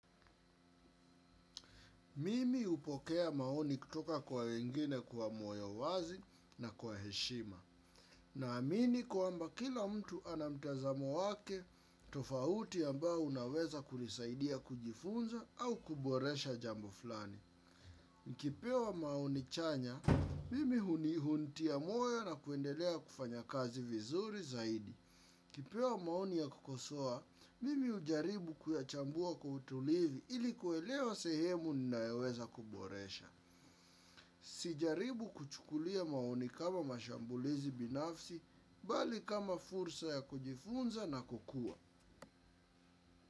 Mimi hupokea maoni kutoka kwa wengine kwa moyo wazi na kwa heshima. Naamini kwamba kila mtu ana mtazamo wake tofauti ambao unaweza kunisaidia kujifunza au kuboresha jambo fulani. Nkipewa maoni chanya, mimi hunihuntia moyo na kuendelea kufanya kazi vizuri zaidi. Ukipewa maoni ya kukosoa, mimi hujaribu kuyachambua kwa utulivi ili kuelewa sehemu ninayoweza kuboresha. Sijaribu kuchukulia maoni kama mashambulizi binafsi, bali kama fursa ya kujifunza na kukua.